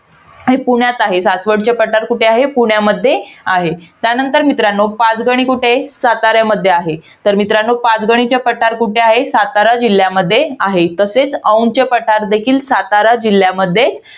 पुण्यात आहे. सासवडचे पठार कुठे आहे? पुण्यामध्ये आहे. त्यानंतर मित्रांनो, पाचगणी कुठे आहे? साताऱ्यामध्ये आहे. तर मित्रांनो, पाचगणीचे पठार कुठे आहे? सातारा जिल्ह्यामध्ये आहे. तसेच औंधचे पठार देखील सातारा जिल्ह्यामध्ये.